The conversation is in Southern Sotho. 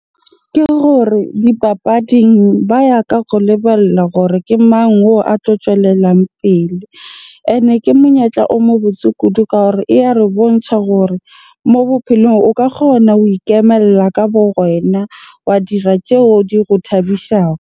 Ke gore dipapading ba ya ka go lebella hore ke mang oo a tlo tswelelang pele. Ene ke monyetla o mo botse kudu ka hore e ya re bontjha hore mo bophelong o ka kgona ho ikemella ka bo wena, wa dira tjeo di go thabisago.